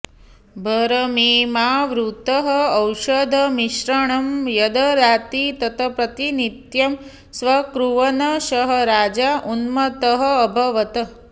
भरमेमावूतः औषधमिश्रणं यद्ददाति तत् प्रतिनित्यं स्वीकुर्वन् सः राजा उन्मत्तः अभवत्